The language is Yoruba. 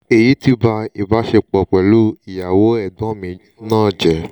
" èyí ti ba ìbáṣepọ̀ pẹ̀lú iyawo egbon mi náà jẹ́